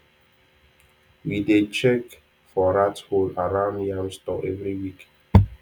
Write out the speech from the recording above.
we dey check for rat hole around yam store every week